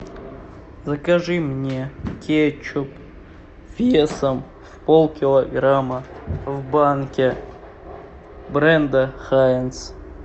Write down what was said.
закажи мне кетчуп весом полкилограмма в банке бренда хайнц